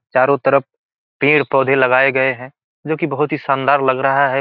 चारों तरफ पेड़-पौधे लगाए गए हैं जो कि बोहत ही शानदार लग रहा है।